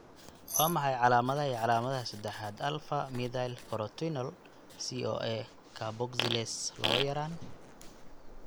Waa maxay calaamadaha iyo calaamadaha sadaxad alfa methylcrotonyl CoA carboxylase lawa yaraan?